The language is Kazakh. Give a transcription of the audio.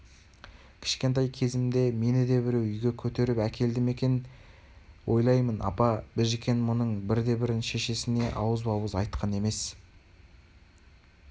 кішкентай кезімде мені де біреу үйге көтеріп әкелді ме екен деп ойлаймын апа біжікен мұның бірде-бірін шешесіне ауызба-ауыз айтқан емес